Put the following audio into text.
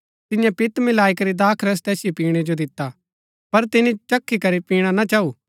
तियें पित्त मिलाई करी दाखरस तैसिओ पिणै जो दिता पर तिनी चखी करी पिणा ना चाऊ